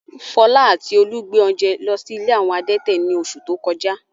Fọlá àti Olú gbé oúnjẹ lọ sí ilé àwọn adẹ́tẹ̀ ní oṣù tó kọjá.